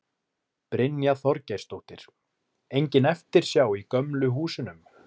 Brynja Þorgeirsdóttir: Engin eftirsjá í gömlu húsunum?